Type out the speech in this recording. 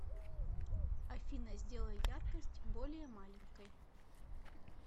афина сделай яркость более маленькой